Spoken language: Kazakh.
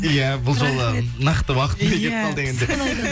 иә бұл жолды нақты уақытымен келіп қалды енді